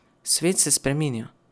Svet se spreminja.